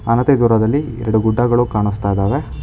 ಅನತೇ ದೂರದಲ್ಲಿ ಎರಡು ಗುಡ್ಡಗಳು ಕಾಣುತ್ತಿದ್ದಾವೆ.